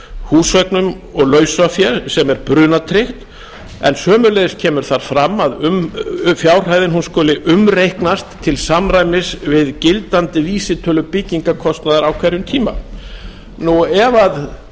húseignum og lausafé sem er brunatryggt en sömuleiðis kemur þar fram að fjárhæðin skuli umreiknast til samræmis við gildandi vísitölu byggingarkostnaðar á hverjum tíma ef fjárhæðin sem ég